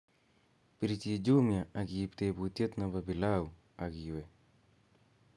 pirjin jumia ak iib tebutiet nebo pilau ak iwe